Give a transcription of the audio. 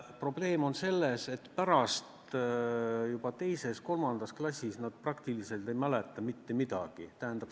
Probleem on selles, et juba teises-kolmandas klassis nad praktiliselt ei mäleta mitte midagi.